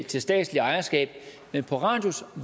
til statsligt ejerskab men på radius